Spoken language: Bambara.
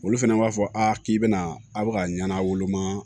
Olu fɛnɛ b'a fɔ a k'i bɛna a' bɛ ka ɲana woloma